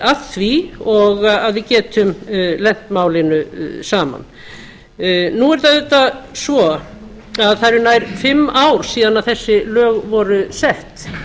að því og að við getum lent málinu saman nú er það auðvitað svo að það eru nær fimm ár síðan þessi lög voru sett